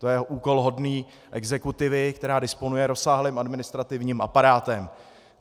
To je úkol hodný exekutivy, která disponuje rozsáhlým administrativním aparátem.